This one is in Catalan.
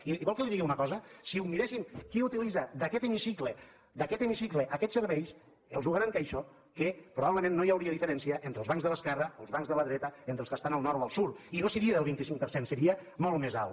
i vol que li digui una cosa si miréssim qui utilitza d’aquest hemicicle d’aquest hemicicle aquests serveis els ho garanteixo que probablement no hi hauria diferència entre els bancs de l’esquerra els bancs de la dreta entre els que estan al nord o al sud i no seria del vint cinc per cent seria molt més alt